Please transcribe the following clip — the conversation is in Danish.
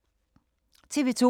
TV 2